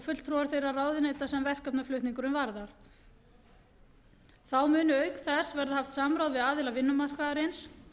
fulltrúar þeirra ráðuneyta sem verkefnaflutningur varðar þá muni auk þess verða haft samráð við aðila vinnumarkaðarins